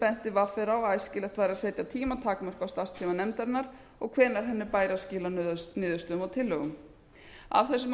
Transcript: benti vr á að æskilegt væri að setja tímatakmörk á starfstíma nefndarinnar og hvenær henni bæri að skila niðurstöðum og tillögum af þessum